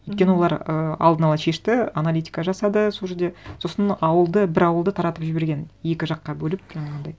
мхм өйткені олар ыыы алдын ала шешті аналитика жасады сол жерде сосын ауылды бір ауылды таратып жіберген екі жаққа бөліп жаңағындай